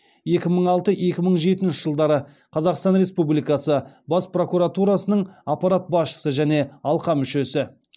екі мың алты екі мың жетінші жылдары қазақстан республикасы бас прокуратурасының аппарат басшысы және алқа мүшесі